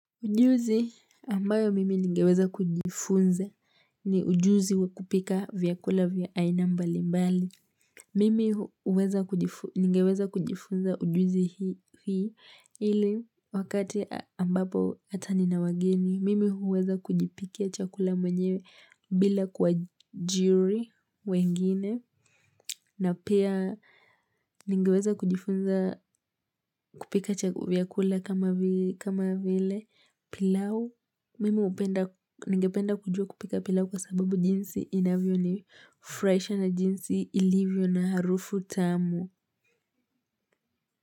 Ujuzi ambayo mimi ningeweza kujifunza ni ujuzi wa kupika vyakula vya aina mbali mbali. Mimi ningeweza kujifunza ujuzi hii ili wakati ambapo hata nina wageni. Mimi huweza kujipikia chakula mwenyewe bila kuajiri wengine. Na pia, ningeweza kujifunza kupika vyakula kama vile pilau. Mimi hupenda, ningependa kujua kupika pilau kwa sababu jinsi inavyonifurahisha na jinsi ilivyo na harufu tamu.